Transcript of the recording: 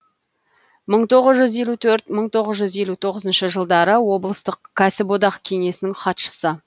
мың тоғыз жүз елу төрт мың тоғыз жүз елу тоғызыншы жылдары облыстық кәсіподақ кеңесінің хатшысы